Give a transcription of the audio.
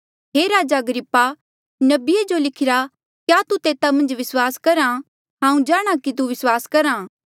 हे राजा अग्रिप्पा नबिये जो लिखिरा क्या तू तेता मन्झ विस्वास करहा हांऊँ जाणहां कि तू विस्वास करहा